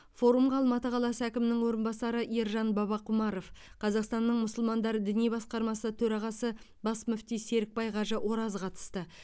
форумға алматы қаласы әкімінің орынбасары ержан бабақұмаров қазақстанның мұсылмандары діни басқармасы төрағасы бас мүфти серікбай қажы ораз қатысты